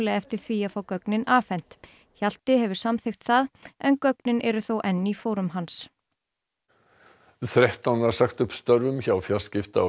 eftir því að fá gögnin afhent Hjalti hefur samþykkt það en gögnin eru þó enn í fórum hans þrettán var sagt upp störfum hjá fjarskipta og